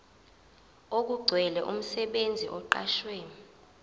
okugcwele umsebenzi oqashwe